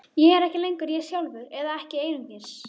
Ég er ekki lengur ég sjálfur, eða ekki einungis.